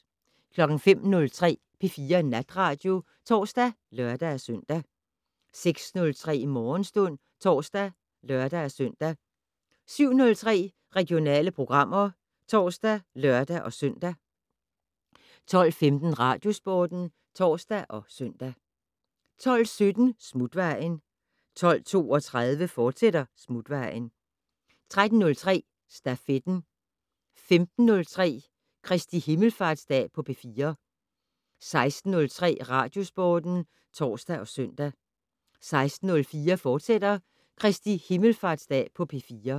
05:03: P4 Natradio (tor og lør-søn) 06:03: Morgenstund (tor og lør-søn) 07:03: Regionale programmer (tor og lør-søn) 12:15: Radiosporten (tor og søn) 12:17: Smutvejen 12:32: Smutvejen, fortsat 13:03: Stafetten 15:03: Kr. himmelfartsdag på P4 16:03: Radiosporten (tor og søn) 16:04: Kr. himmelfartsdag på P4, fortsat